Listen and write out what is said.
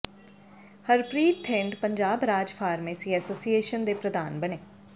ਹਰਪ੍ਰਰੀਤ ਥਿੰਦ ਪੰਜਾਬ ਰਾਜ pharmacy association ਦੇ ਪ੍ਰਧਾਨ ਬਣੇ